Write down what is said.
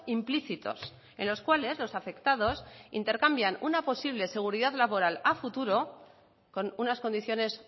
implícitos en los cuales los afectados intercambian una posible seguridad laboral a futuro con unas condiciones